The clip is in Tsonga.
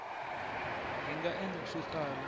hi nga endla swo tala